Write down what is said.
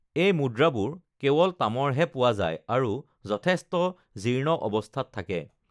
এই মুদ্ৰাবোৰ কেৱল তামৰ হে পোৱা যায় আৰু যথেষ্ট জীৰ্ণ অৱস্থাত থাকে৷